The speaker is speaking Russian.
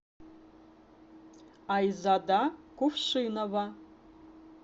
айзада кувшинова